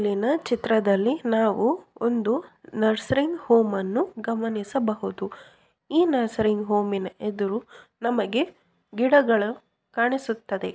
ಈ ಮೇಲಿನ ಚಿತ್ರದಲ್ಲಿ ನಾವು ಒಂದು ನರ್ಸರಿಂಗ್ ಹೋಮ್ ಅನ್ನು ಗಮನಿಸಬಹುದು ಈ ನರ್ಸರಿಂಗ್ ಹೋಮ್‌ನ ಎದುರು ನಮಗೆ ಗಿಡಗಳು ಕಾಣಿಸುತ್ತದೆ.